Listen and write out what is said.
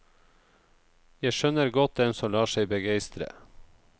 Jeg skjønner godt dem som lar seg begeistre.